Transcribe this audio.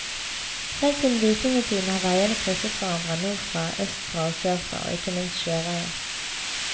Helt siden vikingetiden har veiene krysset hverandre, nordfra, østfra og sørfra og ikke minst sjøveien.